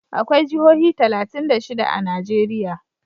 Akwai jihohi talatin da shida a Najeriya.